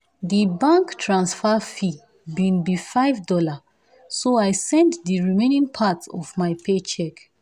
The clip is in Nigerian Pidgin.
the bank transfer fee been be $5 so i send the remaining part of my paycheck.